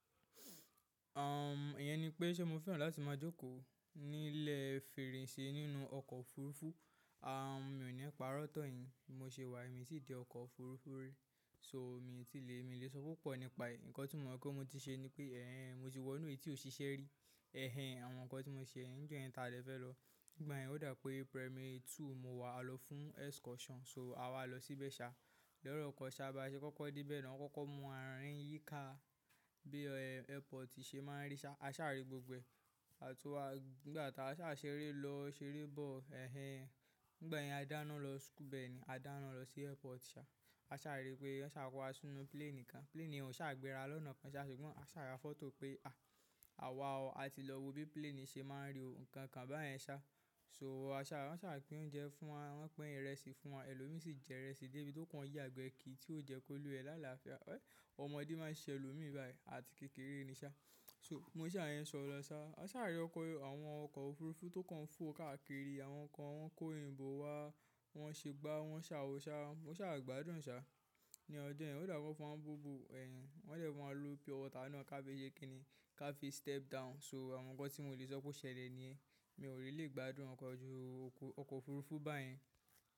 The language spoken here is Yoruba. Uhm, ìyẹn ni pé ṣẹ́ mo fẹ́ràn láti máa jókòó nílẹ̀ fèrèsé nínú ọkọ̀ òfurufú. Uhm, mi ò ní pa rọ́ tan yìn, bi mo ṣe wà yi, mi o ti de ọkọ̀ òfurufú rí. So mi ti le, mi le sọ púpọ̀ nípa è. Ǹkan tí mo mọ̀ pé mo ti ṣe ni pé ẹ́hẹ́n, mo ti wọ inú èyí tí ò ṣiṣẹ́ rí. Ẹ̀hẹ́n, àwọn ǹkan tí mo ṣe ní ijo yen ta dè fẹ́ lọ. Nígbà yẹn ó dà pé primary two mo wà, a lọ fún excursion. So a wá lọ sí ibe ṣa. Loro kan ṣá, bà ṣe kọ́kọ́ dé be na, wọ́n kọ́kọ́ mú wà ń rìn yíká bí ẹ̀ airport ṣe máa ń rí ṣá. A ṣà rí gbogbo ẹ̀. Àtun wa, nígbà tá a ṣà ṣeré lọ ṣeré bọ́ọ̀lù. Ẹ̀hẹ́n, nígbà yẹn a dáná lọ school bẹ́ẹ̀ni, a dáná lọ sí airport ṣá. A ṣà rí pé wọ́n ṣà kọ́ wa sínú plane kan. Plane ò ṣà gbéra lọ́nà kan ṣá ṣùgbọ́n a ṣà ra fọ́tò pé a, àwa o, a ti lọ wo bí plane ṣe máa ń rí òún. Ǹkan kan báyẹn ṣá. So a sa, won sa pín oúnjẹ fún wa, won pín ìrẹsì fún wa, elomii si je ìrẹsì debi tokan yagbe kiri, ti o je ki oluwa e ni àlàáfíà. Ẹ, ọmọdé máa ń ṣẹlòmíràn báyìí. A ti kékeré ni ṣá. So mo ṣà yẹn sọ̀ ọ́ lọ ṣá. A ṣà rí ọkọ̀, àwọn ọkọ̀ òfurufú tó kàn fò káàkiri. Àwọn kan wọ́n kó oyinbò wá, wọ́n ṣé gbá, wọ́n ṣà ò ṣá. Mo ṣà gbádùn ṣá. Ní ọjọ́ yẹn ó dàpe won fún wa ni bobo. Ẹ̀hẹ́n, wọ́n dẹ̀ fún wa ni purewater ká fi ṣé kíni ká fi step down. So àwọn ǹkan tí mo lè ṣọ kó ṣẹlẹ̀ ni ẹ. Mi ò really gbádùn ọkọ̀ ju ọkọ̀ òfurufú báyẹn.